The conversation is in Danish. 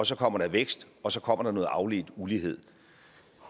så kommer der vækst og så kommer der noget afledt ulighed